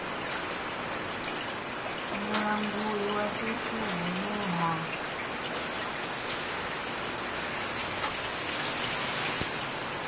mulanguli wa fhethu hune ha